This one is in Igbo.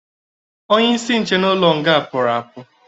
Onye isi ndị nche n'ụlọ nga pụrụ apụ